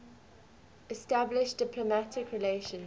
establish diplomatic relations